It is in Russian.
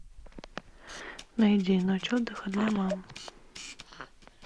найди ночь отдыха для мам